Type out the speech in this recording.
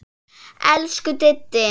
Elsku Diddi.